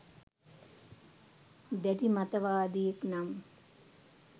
දැඩි මතවාදියෙක් නම්